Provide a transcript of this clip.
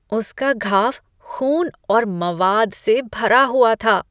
उसका घाव ख़ून और मवाद से भरा हुआ था।